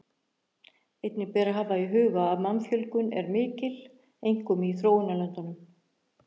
Einnig ber að hafa í huga að mannfjölgun er mjög mikil, einkum í þróunarlöndunum.